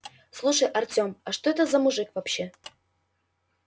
слушай артём а что это за мужик вообще